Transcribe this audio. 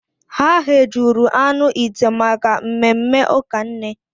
Ha ghejuru anụ ite maka mmemme ụka nne.